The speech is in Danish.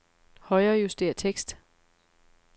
Højrejuster tekst.